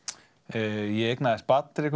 ég eignaðist barn